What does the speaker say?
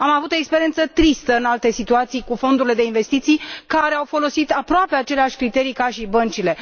Am avut o experiență tristă în alte situații cu fondurile de investiții, care au folosit aproape aceleași criterii ca și băncile.